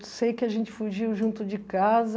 Eu sei que a gente fugiu junto de casa.